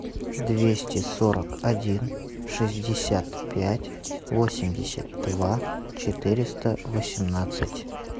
двести сорок один шестьдесят пять восемьдесят два четыреста восемнадцать